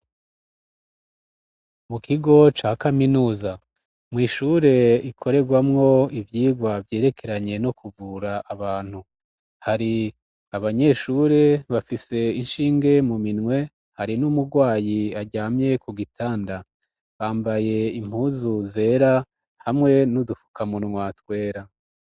Mukigo ca kaminuza mw'ishure ikoregwamwo ivyigwa vyerekeranye no kuvura abantu hari abanyeshure bafise inshinge muminwe hari n'umurwayi aryamye kugitanda. Bambaye impuzu zera hamwe n'udufukamunwa twera.